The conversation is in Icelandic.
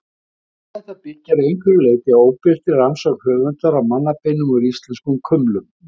Svar þetta byggir að einhverju leyti á óbirtri rannsókn höfundar á mannabeinum úr íslenskum kumlum.